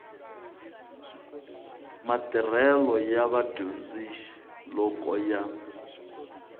matirhelo ya vadyondzi loko ya